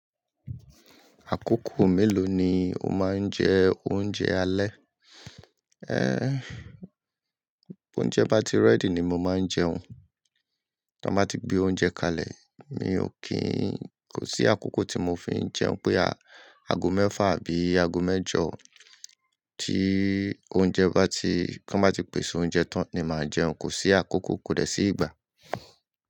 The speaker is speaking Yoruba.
Àkókò mélòó ni o máa ń jẹ oúnjẹ alẹ́? Ẹ́, oúnjẹ bá ti rẹ́dì ni mo máa ń jẹun. Bí wọ́n bá ti gbé oúnjẹ kalẹ̀, mi ò kí n-- kò sí àkókò tí mo fi ń jẹun pé a-ago mẹ́fà àbí ago mẹ́jọ. Tí oúnjẹ bá ti-- tí wọ́n bá ti pèsè oúnjẹ tán ni màá jẹun, kò sí àkókò, kò dẹ sí ìgbà.